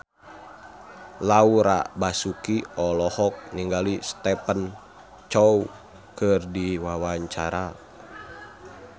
Laura Basuki olohok ningali Stephen Chow keur diwawancara